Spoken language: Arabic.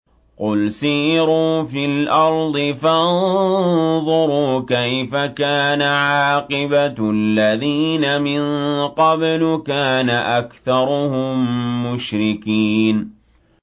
قُلْ سِيرُوا فِي الْأَرْضِ فَانظُرُوا كَيْفَ كَانَ عَاقِبَةُ الَّذِينَ مِن قَبْلُ ۚ كَانَ أَكْثَرُهُم مُّشْرِكِينَ